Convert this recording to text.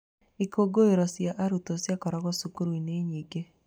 Ikungũĩro cia arutwo cikoragwo cukuru-inĩ nyingĩ.